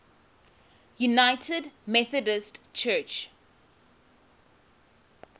united methodist church